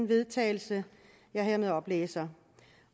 vedtagelse jeg hermed oplæser